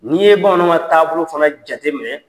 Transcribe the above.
N'i ye bamananw ka taabolo fana jate minɛ.